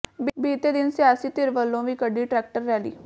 ਬੀਤੇ ਦਿਨ ਸਿਆਸੀ ਧਿਰ ਵੱਲੋਂ ਵੀ ਕੱਢੀ ਟਰੈਕਟਰ ਰੈਲੀ